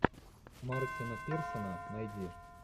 мартина пирсона найди